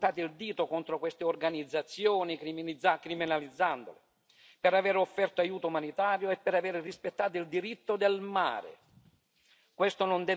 Eppure in tanti hanno puntato il dito contro queste organizzazioni, criminalizzandole per aver offerto aiuto umanitario e per aver rispettato il diritto del mare.